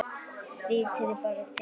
Vitiði bara til!